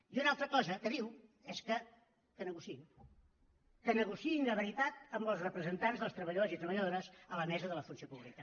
i una altra cosa que diu és que negociïn que negociïn de veritat amb els representants dels treballadors i treballadores a la mesa de la funció pública